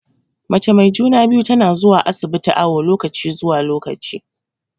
Mace mai juna-biyu tana zuwa asibiti awu lokaci zuwa lokaci.